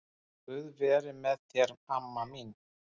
Guð veri með þér amma mín.